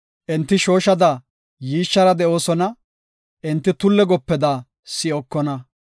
Enti shooshada yiishshara de7oosona; enti tulle gopeda si7okona.